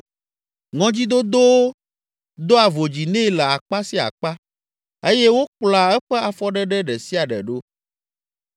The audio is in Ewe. Ŋɔdzidodowo doa vodzi nɛ le akpa sia akpa eye wokplɔa eƒe afɔɖeɖe ɖe sia ɖe ɖo.